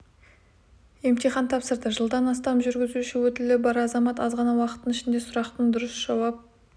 емтихан тапсырды жылдан астам жүргізуші өтілі бар азамат аз ғана уақыттың ішінде сұрақтың дұрыс жауап